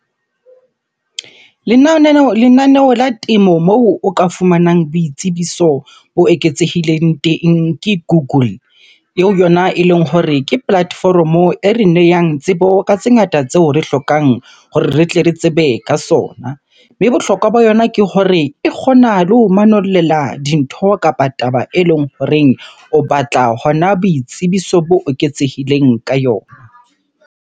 Lenaneo la temo moo o ka fumanang boitsebiso bo eketsehileng teng ke Google. Eo yona eleng hore ke platform-o e re neyang tsebo ka tse ngata tseo re hlokang hore re tle re tsebe ka sona. Mme bohlokwa ba yona ke hore e kgona le ho manollela dintho kapa taba eleng horeng o batla hona boitsebiso bo eketsehileng ka yona.